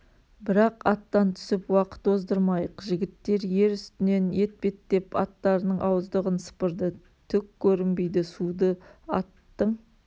бірақ аттан түсіп уақыт оздырмайық жігіттер ер үстінен етбеттеп аттарының ауыздығын сыпырды түк көрінбейді суды аттың